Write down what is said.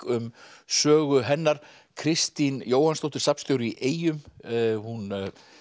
um sögu hennar Kristín Jóhannsdóttir safnstjóri í eyjum hún